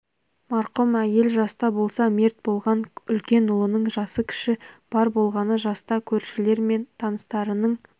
марқұм әйел жаста болса мерт болған үлкен ұлының жасы кішісі бар болғаны жаста көршілері мен таныстарының